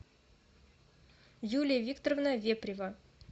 юлия викторовна вепрева